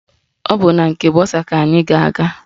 Ọ bụ na nke bọsa ka anyị ga-aga